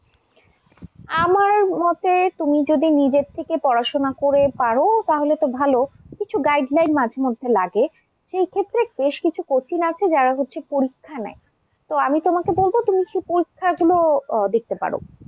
আমার মতে তুমি যদি নিজে থেকে পড়াশোনা করে পারো তাহলে তো ভাল, কিছু guideline মাঝেমধ্যে লাগে সেই ক্ষেত্রে বেশকিছু coaching আছে যারা হচ্ছে পরীক্ষা নেয়। তো আমি তোমাকে বলব তুমি সেই পরীক্ষাগুলো দেখতে পারো।